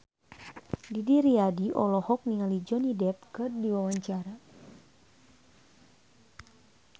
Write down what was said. Didi Riyadi olohok ningali Johnny Depp keur diwawancara